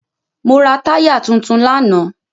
Mo ra táyà tuntun lánàá.